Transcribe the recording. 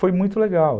Foi muito legal.